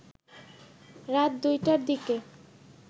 রাত ২টার দিকে